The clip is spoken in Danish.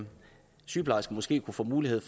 sygeplejersken måske kunne få mulighed